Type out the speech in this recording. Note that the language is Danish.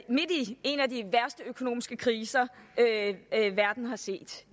en af de værste økonomiske kriser verden har set